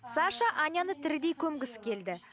саша аняны тірідей көмгісі келді